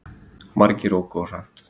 Margir óku of hratt